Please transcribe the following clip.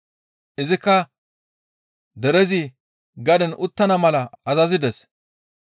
Izikka derezi gaden uttana mala azazides.